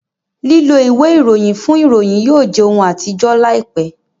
lilọ ìwé Ìròyìn fún ìròyìn yóò jẹ òún atijọ láìpé.